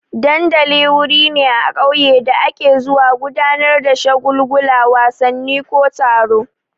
Dandali wuri ne a ƙauye da ake zuwa gudanar da shagulgula, wasanni ko taro.